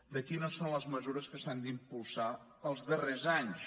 de quines són les mesures que s’han d’impulsar els darrers anys